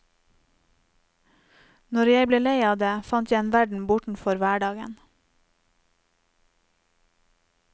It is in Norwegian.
Når jeg ble lei av det, fant jeg en verden bortenfor hverdagen.